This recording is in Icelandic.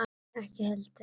Nonni ekki heldur.